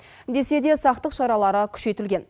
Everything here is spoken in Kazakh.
десе де сақтық шаралары күшейтілген